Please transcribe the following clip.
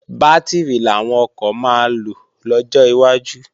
Bátìrì làwọn ọkọ̀ máa lò lọ́jọ́ iwájú